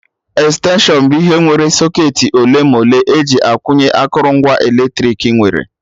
Extension bụ ihe nwere socketị ole ma ole eji akwụnye akụrụngwa eletrik nwere